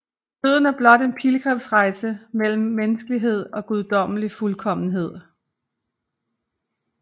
Døden er blot en pilgrimsrejse mellem menneskelighed og guddommelig fuldkommenhed